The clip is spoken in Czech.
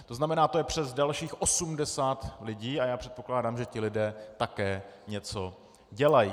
To znamená, to je přes dalších 80 lidí, a já předpokládám, že ti lidé také něco dělají.